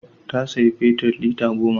Ta saya fetir lita goma